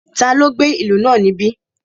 Taló gbé ìlú náà níbí?